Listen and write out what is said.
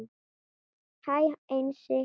Hæ Einsi